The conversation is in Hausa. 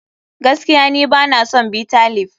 Gaskiya ni bana son Bitter leaf.